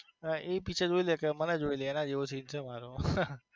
એ picture જોઈ લે કે મને જોઈ લે એના જેવો seen છે મારો.